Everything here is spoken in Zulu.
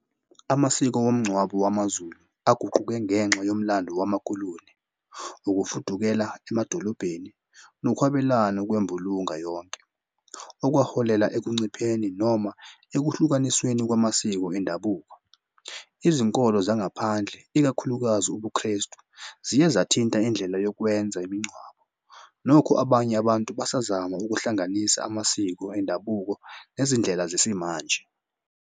Amasiko womngcwabo wamaZulu aguquke ngenxa yomlando wamakoloni ukufudukela emadolobheni nokwabelana kwembulunga yonke, okwaholela ekuncipheni noma ekuhlukanisweni kwamasiko endabuko. Izinkolo zangaphandle ikakhulukazi ubuKrestu ziye zathina indlela yokwenza imingcwabo. Nokho abanye abantu basazama ukuhlanganisa amasiko endabuko nezindlela zesimanje.